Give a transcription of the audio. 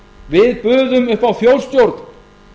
við buðum upp á þjóðstjórn